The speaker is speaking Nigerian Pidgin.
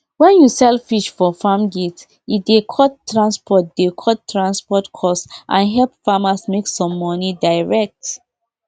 wen peson drink ginger tea before e go sleep e dey help make food go down well well come make person sleep beta sleep.